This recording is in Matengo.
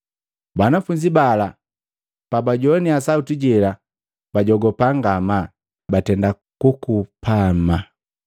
Banafunzi bala pabajowania sauti jela, bajogupa ngama, batenda kukupama.